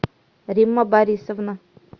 римма борисовна